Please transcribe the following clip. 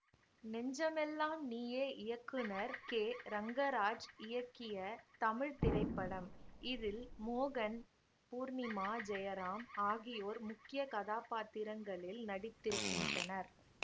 நெஞ்சமெல்லாம் நீயே இயக்குனர் கேரங்கராஜ் இயக்கிய தமிழ் திரைப்படம் இதில் மோகன் பூர்ணிமா ஜெயராம் ஆகியோர் முக்கிய கதாபாத்திரங்களில் நடித்திருக்கின்றனர்